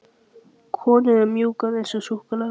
Konur eru mjúkar eins og súkkulaði.